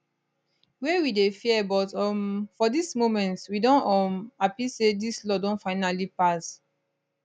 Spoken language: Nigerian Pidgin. wey we dey fear but um for dis moment we don um happy say dis law don finally pass